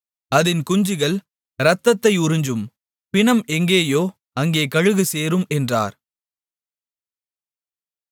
அதின் குஞ்சுகள் இரத்தத்தை உறிஞ்சும் பிணம் எங்கேயோ அங்கே கழுகு சேரும் என்றார்